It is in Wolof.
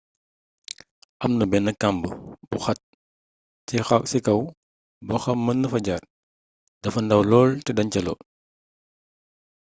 amna bénn kamb gu xat ci kaw boxam mëna fa jaar dafa ndaw lool té dancaloo